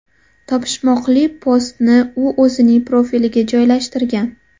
Topishmoqli postni u o‘zining profiliga joylashtirgan .